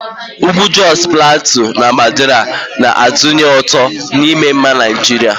Ugwu Josu Platiu na Mandara na-atụnye ụtụ na ịma mma Naijiria.